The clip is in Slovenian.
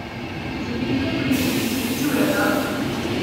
Se ti dve politiki izključujeta?